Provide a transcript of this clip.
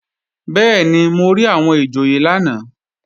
Bẹ́ẹ̀ni, mo rí àwọn ìjòyè lánàá